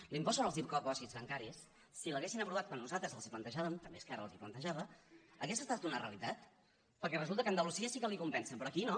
l’impost sobre els dipòsits bancaris si l’haguessin aprovat quan nosaltres els ho plantejàvem també esquerra els ho plantejava hauria estat una realitat perquè resulta que a andalusia sí que l’hi compensen però aquí no